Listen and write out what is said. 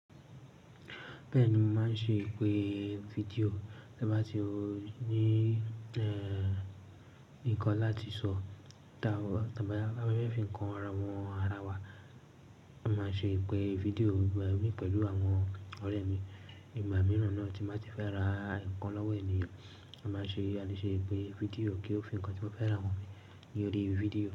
Bẹ́ẹ̀ni, mo máa ń ṣe ìpè fídíò tí a bá ti ní nǹkan láti sọ, tí a bá fẹ́ fi ǹkan hàn àwọn ara wa. A máa ṣe ìpè fídíò pẹ̀lú àwọn ọ̀rẹ́ mi. Ìgbà mìíràn náà tí mo bá ti fẹ́ ra ǹkan lọ́wọ́ ènìyàn, a lè ṣe ìpè fídíò kí ó fi ǹkan tí mo fẹ́ rà hàn mí ní orí fídíò.